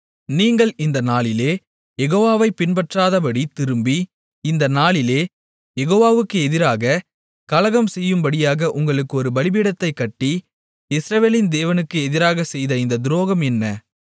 நீங்கள் இந்த நாளிலே யெகோவாவைப் பின்பற்றாதபடித் திரும்பி இந்த நாளிலே யெகோவாவுக்கு எதிராகக் கலகம் செய்யும்படியாக உங்களுக்கு ஒரு பலிபீடத்தைக் கட்டி இஸ்ரவேலின் தேவனுக்கு எதிராகச் செய்த இந்தத் துரோகம் என்ன